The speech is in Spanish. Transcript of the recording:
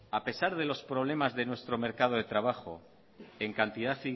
a pesar de los problemas de nuestro mercado de trabajo en cantidad